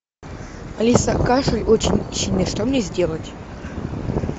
алиса кашель очень сильный что мне сделать